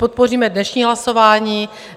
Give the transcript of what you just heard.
Podpoříme dnešní hlasování.